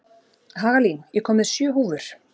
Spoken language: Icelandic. Hagalín, ég kom með sjö húfur!